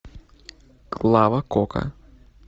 клава кока